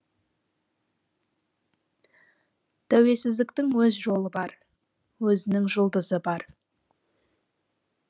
тәуелсіздіктің өз жолы бар өзінің жұлдызы бар